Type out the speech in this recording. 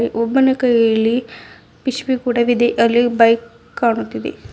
ಒಬ್ಬನ ಕೈಯಲ್ಲಿ ಪಿಶಬಿ ಕೊಡವಿದೆ ಅಲ್ಲಿ ಬೈಕ್ ಕಾಣುತ್ತಿದೆ.